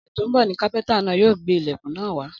Ọ̀sẹ̀ tó ń bọ̀ ni kápẹ́ntà náà yóò gbé ilẹ̀kùn náà wá